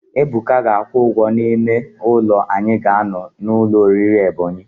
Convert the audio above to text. Ebuka ga-akwụ ụgwọ ime ụlọ anyị ga-anọ n' ụlọ oriri Ebonyi.